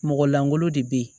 Mɔgɔ langolo de bɛ ye